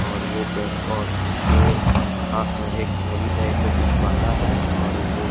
और वो पे और उसके हाथ में एक मूली टाइप का कुछ बंधा है और वो --